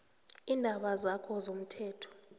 iindaba zakho zomthelo